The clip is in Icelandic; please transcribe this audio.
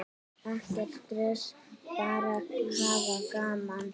Ekkert stress, bara hafa gaman!